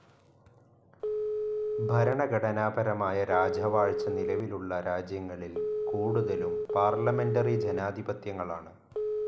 ഭരണഘടനാപരമായ രാജവാഴ്ച്ച നിലവിലുള്ള രാജ്യങ്ങളിൽ കൂടുതലും പാർലമെന്ററി ജനാധിപത്യങ്ങളാണ്.